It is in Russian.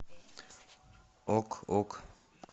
ок ок